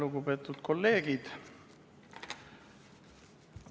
Lugupeetud kolleegid!